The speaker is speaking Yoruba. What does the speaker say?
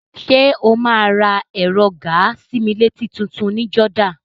Ṣé o máa ra ẹ̀rọ gàa-sí-mí-létí tutun ní Jordan?